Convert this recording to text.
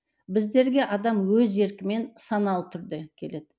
біздерге адам өз еркімен саналы түрде келеді